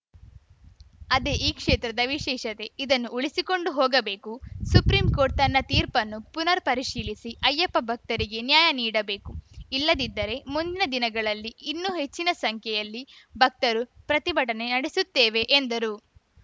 ಅದೇ ಆ ಕ್ಷೇತ್ರದ ವಿಶೇಷತೆ ಇದನ್ನು ಉಳಿಸಿಕೊಂಡು ಹೋಗಬೇಕು ಸುಪ್ರಿಂಕೋರ್ಟ್‌ ತನ್ನ ತೀರ್ಪನ್ನು ಪುನರ್‌ ಪರಿಶೀಲಿಸಿ ಅಯ್ಯಪ್ಪ ಭಕ್ತರಿಗೆ ನ್ಯಾಯ ನೀಡಬೇಕು ಇಲ್ಲದಿದ್ದರೆ ಮುಂದಿನ ದಿನಗಳಲ್ಲಿ ಇನ್ನೂ ಹೆಚ್ಚಿನ ಸಂಖ್ಯೆಯಲ್ಲಿ ಭಕ್ತರು ಪ್ರತಿಭಟನೆ ನಡೆಸುತ್ತೇವೆ ಎಂದರು